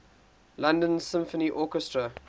london symphony orchestra